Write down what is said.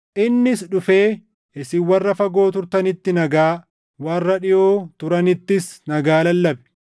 Innis dhufee isin warra fagoo turtanitti nagaa, warra dhiʼoo turanittis nagaa lallabe.